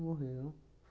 Morreu.